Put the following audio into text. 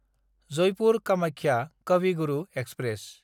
जयपुर–कामाख्या काभि Guru express